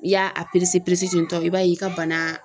I y'a a ten tɔ i b'a ye i ka bana